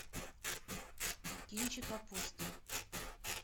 кинчик апостол